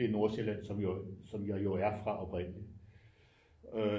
Blev Nordsjælland som jeg jo er fra oprindeligt øh